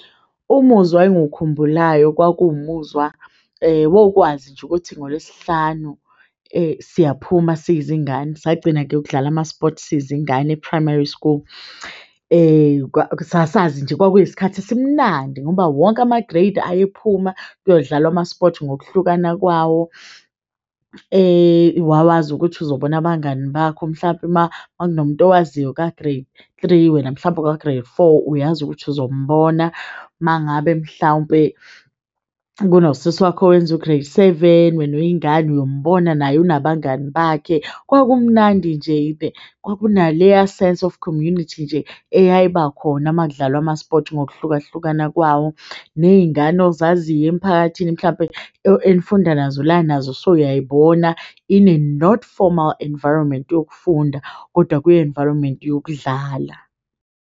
Umuzwa engiwukhumbulayo kwakuwu muzwa wokwazi nje ukuthi ngolwesihlanu siyaphuma siyizi ngane. Sagcina-ke ukudlala amaspothi siyizi ngane e-primary school. Sasazi nje kwakuyisikhathi esimnandi ngoba wonke ama-grade ayephuma kuyodlalwa amaspothi ngokuhlukana kwawo wawazi ukuthi uzobona abangani bakho mhlampe makunomuntu omaziyo ka-grade three, wena mhlawumpe uka-grade four uyazi ukuthi uzombona, mangabe mhlawumpe kuno sisi wakho owenza u-grade seven wena uyingane uyombona naye unabangani bakhe. Kwakumnandi nje kwaku naleya sense of community nje eyayiba khona makudlalwa amaspothi ngokuhlukahlukana kwawo ney'ngane ozaziyo emiphakathini mhlampe enifunda nazo la nazo usuyay'bona in a not formal environment yokufunda, kodwa ku-environment yokudlala.